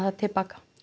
til baka